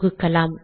தொகுக்கலாம்